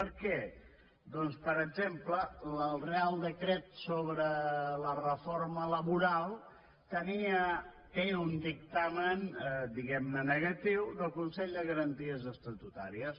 per què doncs per exemple el reial decret sobre la reforma laboral té un dictamen diguem ne negatiu del consell de garanties estatutàries